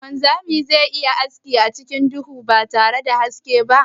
Shin wanzami ze iya yin aski acikin duhu batare da haske ba?